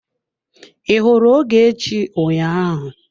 I hụrụ Ogechi ụnyaahụ?